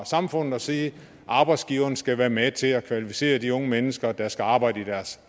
samfundet at sige at arbejdsgiverne skal være med til at kvalificere de unge mennesker der skal arbejde i deres